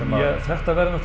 þetta verður